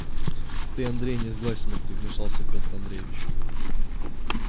ты андрей не сглазь смотри вмешался пётр андреевич